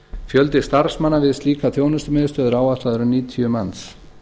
fjöldi starfsmanna við slíka þjónustumiðstöð er áætlaður um níutíu manns